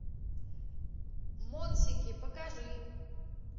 монсики покажи